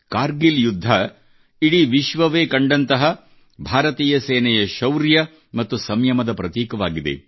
ಕಾರ್ಗಿಲ್ ಯುದ್ಧ ಇಡೀ ವಿಶ್ವವೇ ಕಂಡಂತಹ ಭಾರತೀಯ ಸೇನೆಯ ಶೌರ್ಯ ಮತ್ತು ಸಂಯಮದ ಪ್ರತೀಕವಾಗಿದೆ